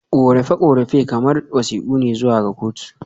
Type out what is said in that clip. Korafe-korafe kamar wasiƙu ne zuwa ga kotu.